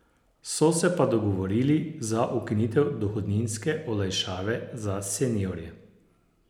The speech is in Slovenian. So se pa dogovorili za ukinitev dohodninske olajšave za seniorje.